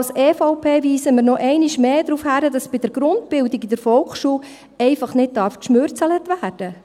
Als EVP weisen wir einmal mehr darauf hin, dass bei der Grundbildung in der Volksschule einfach nicht geknausert werden darf!